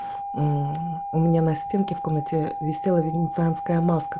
мм у меня на стенке в комнате висела венецианская маска